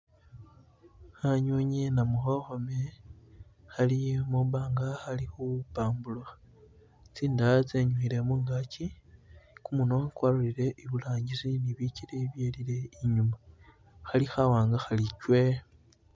Khanywinywi namukhokhome khali mwibanga khali khu pamburukha , tsindaya tsenyukhile mungaki , kumunwa kwalolele iburangisi ne bikele byelile inyuma khali khawanga khali chwe .